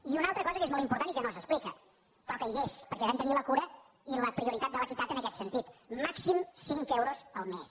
i una altra cosa que és molt important i que no s’explica però que hi és perquè vam tenir la cura i la prioritat de l’equitat en aquest sentit màxim cinc euros al mes